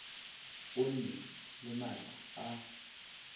o nne le maatla a